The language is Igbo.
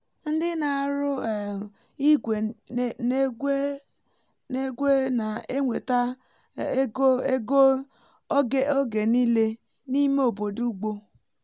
ndị na-arụ um igwe n’egwe-egwe na-enweta um ego ego oge niile n’ime obodo ugbo